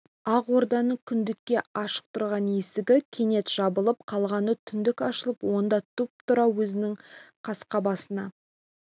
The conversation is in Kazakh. ақ орданың күндікке ашық тұрған есігі кенет жабылып қалғаны түндік ашылып онда тұп-тура өзінің қасқа басына